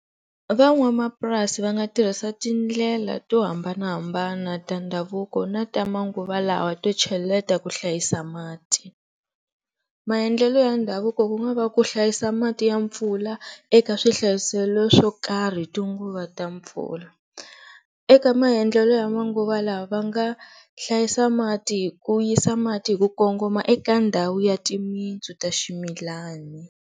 Va n'wapurasi va nga tirhisa tindlela to hambanahambana ta ndhavuko na ta manguva lawa to cheleta ku hlayisa mati. Maendlelo ya ndhavuko ku nga va ku hlayisa mati ya mpfula eka swihlayiselo swo karhi hi tinguva ta mpfula, eka maendlelo ya manguva lawa va nga hlayisa mati hi ku yisa mati ku kongoma eka ndhawu ya timitsu ta swimilani.